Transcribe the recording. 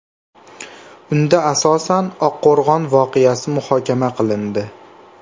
Unda asosan Oqqo‘rg‘on voqeasi muhokama qilindi .